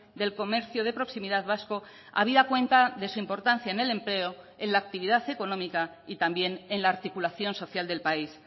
del comercio de proximidad vasco habida cuenta de su importancia en el empleo en la actividad económica y también en la articulación social del país